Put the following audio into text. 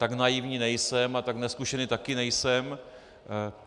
Tak naivní nejsem a tak nezkušený také nejsem.